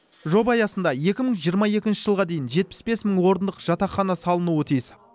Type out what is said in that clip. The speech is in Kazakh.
жоба аясында екі мың жиырма екінші жылға дейін жетпіс бес мың орындық жатақхана салынуы тиіс